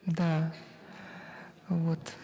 да вот